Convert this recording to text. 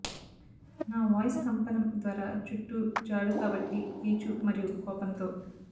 నా వాయిస్ కంపనం ద్వారా చుట్టూ చాడు కాబట్టి కీచు మరియు కోపంతో